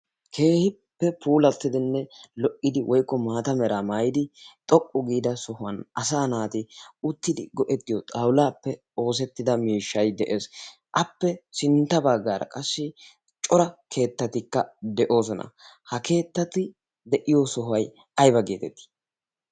keehippe puulattidinne lo"idi woykko maata mera maayidi xoqqu giida sohuwan asa naati uttidi go"ettiyo xawulaappe oosettida miishshay de'ees appe sintta baggaara qassi cora keettatikka de'oosona ha keettati de'iyo sohuway ayba geetettii